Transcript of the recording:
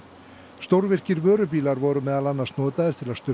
stórvirkir vörubílar voru meðal annars notaðir til að sturta